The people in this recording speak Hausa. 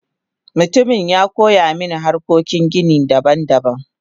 Mutumin yakoyamin hanyoyin gini daban daban.